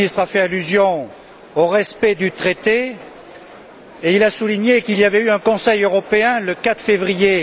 le ministre a fait allusion au respect du traité et il a souligné qu'il y avait eu un Conseil européen le 4 février.